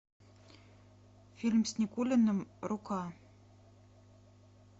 фильм с никулиным рука